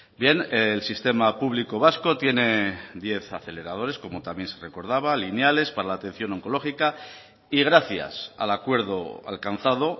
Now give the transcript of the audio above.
bien el sistema público vasco tiene diez aceleradores como también se recordaba lineales para la atención oncológica y gracias al acuerdo alcanzado